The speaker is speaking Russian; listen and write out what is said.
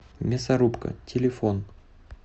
мясорубка телефон